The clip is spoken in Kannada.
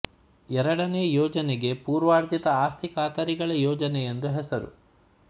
ಎರಡನೇ ಯೋಜನೆಗೆ ಪೂರ್ವಾರ್ಜಿತ ಆಸ್ತಿ ಖಾತರಿಗಳ ಯೋಜನೆ ಎಂದು ಹೆಸರು